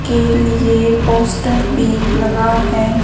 के लिए पोस्टर भी लगा है।